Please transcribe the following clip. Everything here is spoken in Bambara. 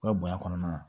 U ka bonya kɔnɔna na